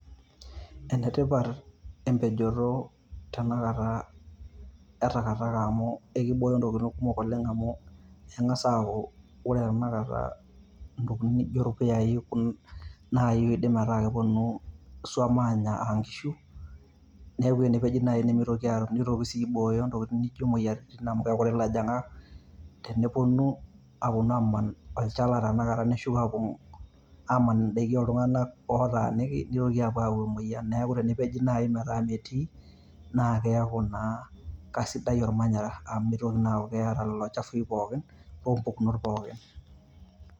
Enetipat empejoto tenakata e takataka amu ekibooyo ntokitin kumok oleng amu eng`as aaku ore tenakata ntokitin naijo ilpuyai naai oidim ataa keponu iswam aanya aa nkishu. Niaku tenepeji naaji nimitoki aanya, nitoki sii aibooyo ntokitin naijo imoyiaritin amu kekutik ilojong`ak teneponu aaponu aaman olchala tenakata neshuko aapuo aaman n`daikin oo iltung`anak ootaniki nitoki apuoo ayau emoyian niaku tenepeji naaji metaa metii naa keaku naa keisidai olmanyara. Amu mitoki naa aaku keeta lelo chafui pookin loo mpukunot pooki.